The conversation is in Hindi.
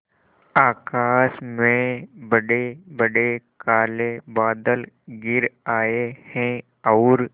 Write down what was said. आकाश में बड़ेबड़े काले बादल घिर आए हैं और